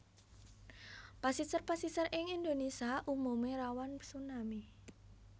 Pasisir pasisir ing Indonesia umume rawan tsunami